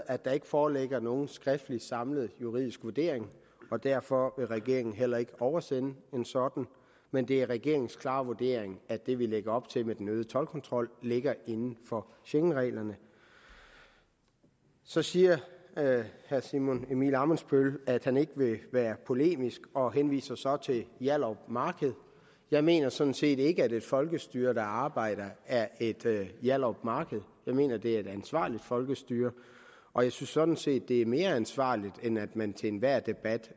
at der ikke foreligger nogen skriftlig samlet juridisk vurdering og derfor kan regeringen heller ikke oversende en sådan men det er regeringens klare vurdering at det vi lægger op til med den øgede toldkontrol ligger inden for schengenreglerne så siger herre simon emil ammitzbøll at han ikke vil være polemisk og henviser så til hjallerup marked jeg mener sådan set ikke at et folkestyre der arbejder er et hjallerup marked jeg mener at det er et ansvarligt folkestyre og jeg synes sådan set at det er mere ansvarligt end at man til enhver debat